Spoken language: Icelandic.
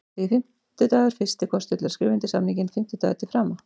Því er fimmtudagur fyrsti kostur til að skrifa undir samninginn, fimmtudagur til frama.